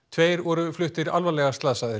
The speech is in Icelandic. tveir voru fluttir alvarlega slasaðir